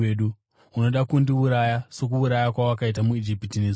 Unoda kundiuraya sokuuraya kwawakaita muIjipita nezuro?’